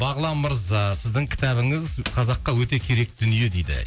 бағлан мырза сіздің кітабыңыз қазаққа өте керек дүние дейді